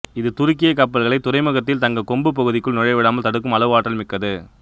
இது துருக்கிய கப்பல்களைத் துறைமுகத்தில் தங்கக் கொம்பு பகுதிக்குள் நுழையவிடாமல் தடுக்கும் அளவு ஆற்றல் மிக்கது